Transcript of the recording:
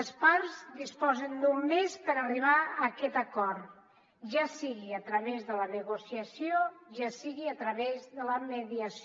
les parts disposen d’un mes per arribar a aquest acord ja sigui a través de la negociació ja sigui a través de la mediació